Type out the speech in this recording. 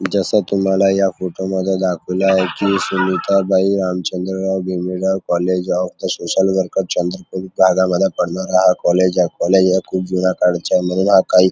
जस तुम्हाला या फोटोमध्ये दाखवल आहे की Sushilabai Ramchandrarao Mamidwar college of social worker Chandrapur पडणारा हा कॉलेज आहे कॉलेज हा खूप जुन्या काळाचाय म्हणून हा काही --